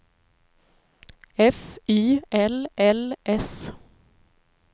F Y L L S